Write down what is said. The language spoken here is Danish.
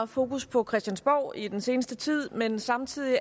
fokus på christiansborg i den seneste tid men samtidig